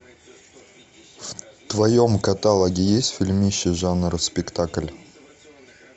в твоем каталоге есть фильмище жанр спектакль